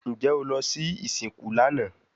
Njẹ o lọ si isinku lana?